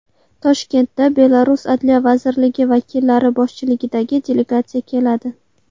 Toshkentga Belarus Adliya vazirligi vakillari boshchiligidagi delegatsiya keladi.